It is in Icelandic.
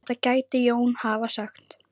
Þetta gæti Jón hafa sagt.